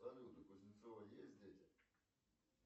салют у кузнецова есть дети